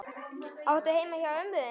Áttu heima hjá ömmu þinni?